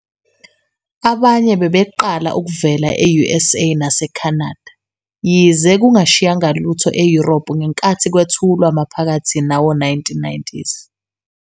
Abanye bebeqala ukuvela e-USA naseCanada, yize kungashiyanga lutho e-Europe ngenkathi kwethulwa maphakathi nawo-1990s.